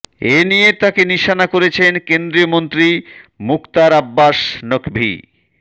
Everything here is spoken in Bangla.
এনিয়ে তাঁকে নিশানা করেছেন কেন্দ্রীয় মন্ত্রী মুখতার আব্বাস নকভি